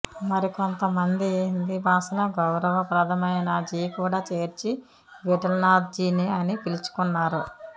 మరికొంతమంది హిందీ భాషలో గౌరవ ప్రథమైన జీ కూడా చేర్చి విఠలనాథ్ జీ అని పిలుచుకున్నారు